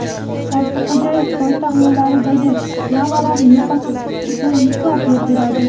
Ortiqxo‘jayev poytaxt yo‘llaridagi "yama"larni yo‘qotish uchun muhlat belgiladi.